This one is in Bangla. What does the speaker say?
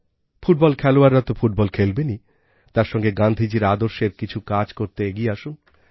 ফুটবল খেলোয়াড়রা তো ফুটবল খেলবেনই তার সঙ্গে সঙ্গে গাঁধিজীর আদর্শের কিছু কাজ করতে এগিয়ে আসুন